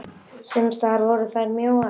Sums staðar voru þær mjóar.